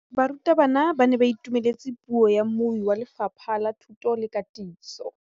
Barutabana ba ne ba itumeletse puô ya mmui wa Lefapha la Thuto le Katiso.